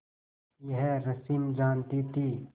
यह रश्मि जानती थी